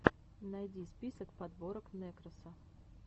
найди список подборок нэкроса